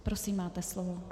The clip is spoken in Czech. Prosím, máte slovo.